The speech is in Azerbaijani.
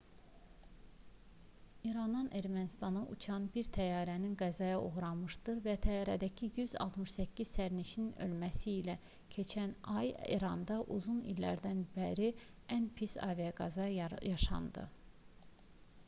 i̇randan ermənistana uçan bir təyyarənin qəzaya uğraması və təyyarədəki 168 sərnişinin ölməsi ilə keçən ay i̇randa uzun illərdən bəri ən pis aviaqəza yaşandı